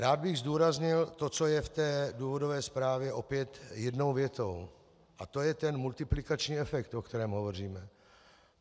Rád bych zdůraznil to, co je v té důvodové zprávě opět jednou větou, a to je ten multiplikační efekt, o kterém hovoříme.